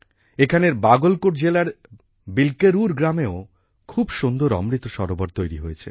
এখানের বাগলকোট জেলার বিল্কেরুর গ্রামেও খুব সুন্দর অমৃত সরোবর তৈরি হয়েছে